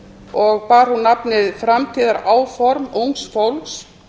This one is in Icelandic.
og bar hún nafnið framtíðaráform ungs fólks